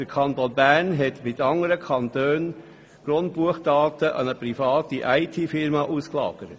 Der Kanton Bern hat mit anderen Kantonen die Grundbuchdaten an eine private ITFirma ausgelagert.